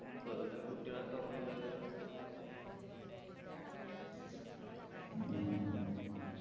വെറുതെ കുട്ടികളെ തുറന്നുവിട് തരും